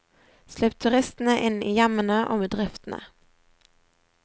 Slipp turistene inn i hjemmene og bedriftene.